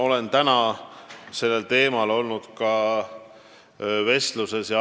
Olen täna sellel teemal vestelnud ka maaeluministriga.